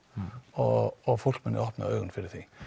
og og fólk muni opna augun fyrir því